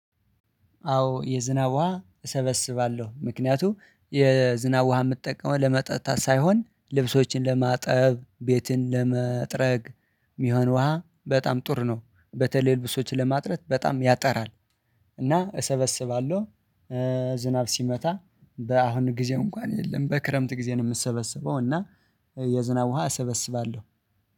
አዎ የዝናብ ውሃ እሰበስባለሁ። ምክንያቱም የዝናብ ውሃ የምጠቀመው ለመጠጣት ሳይሆን ልብሶችን ለማጠብ ቤትን ለመጥረግ የሚሆን ውሃ በጣም ጥርረ ነው በተለይ ልብሶችን ለማጥረት በጣም ያጠራል። እና እሰበስባለሁ። ዝናብ ሲመጣ በአሁኑ ጊዜ እንኳን የለም በክረምት ጊዜ ነው የምሰበሰበው። እና የዝናብ ውሃ እሰበስባለሁ